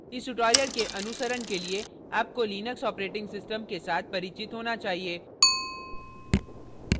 इस tutorial के अनुसरण के लिए आपको लिनक्स operating system के साथ परिचित होना चाहिए